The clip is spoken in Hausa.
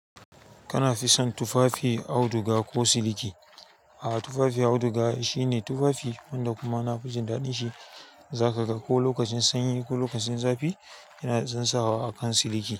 Kana fison tufafi auduga ko siliki? A'a, tufafi auduga shine tufafi wanda kuma nafijin daɗin shi zakaga ko lokacin sanyi ko lokacin zafi yana dazam sawa akan siliki.